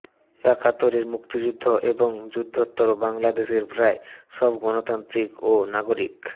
একাত্তরের মুক্তিযুদ্ধ এবং যুদ্ধোত্তর বাংলাদেশের প্রায় সব গণতান্ত্রিক ও নাগরিক